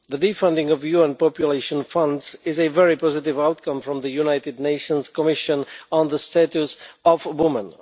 The de funding of the UN Population Fund is a very positive outcome from the United Nations Commission on the Status of Women.